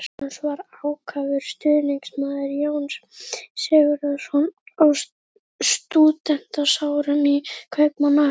Magnús var ákafur stuðningsmaður Jóns Sigurðssonar á stúdentsárum í Kaupmannahöfn.